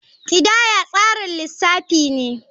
Kidaya tsarin lissafi ne.